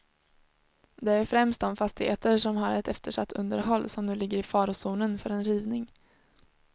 Det är främst de fastigheter som har ett eftersatt underhåll, som nu ligger i farozonen för en rivning.